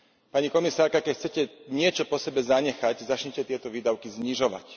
Pani komisárka, keď chcete niečo po sebe zanechať, začnite tieto výdavky znižovať.